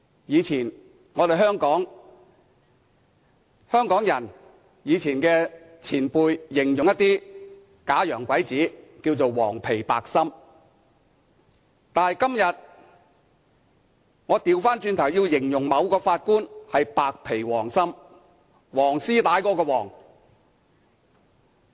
以前，香港老一輩人形容一些假洋鬼子為"黃皮白心"，但今天我反過來要形容某位法官是"白皮黃心"，黃絲帶的"黃"。